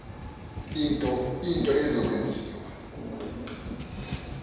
into eza kwenziwa